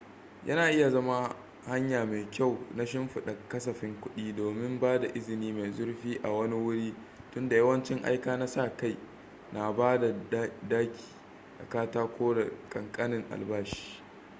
yana iya zama hanya mai kyau na shimfida kasafin kudi domin ba da izini mai zurfi a wani wuri tunda yawancin aika na sa kai na ba da daki da katako da kankanin albashi